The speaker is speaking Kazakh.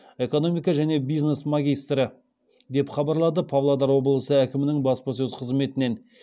экономика және бизнес магистрі деп хабарлады павлодар облысы әкімінің баспасөз қызметінен